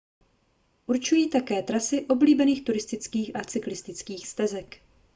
určují také trasy oblíbených turistických a cyklistických stezek